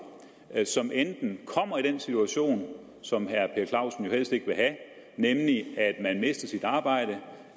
som kommer i den situation som herre per clausen helst ikke vil have nemlig